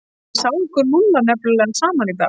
Ég sá ykkur Lúlla nefnilega saman og.